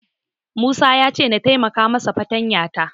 Musa ya ce na taimaka masa fartanya ta.